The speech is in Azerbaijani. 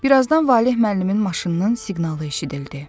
Birazdan Valeh müəllimin maşınının siqnalı eşidildi.